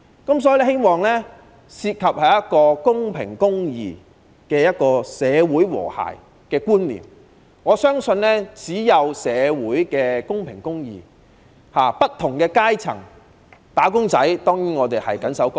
我希望制度涉及公平公義的社會和諧觀念，我相信只要社會達至公平和公義，不同階層的"打工仔"當然便會緊守崗位。